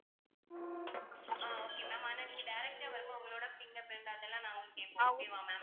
ஆஹ் okay ma'am ஆனா நீங்க direct ஆ வரும்போது உங்களோட fingerprint அதெல்லாம் நாங்க வந்து கேட்போம் okay வா ma'am